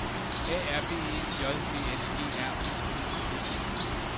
A R B E J D S G R U P P E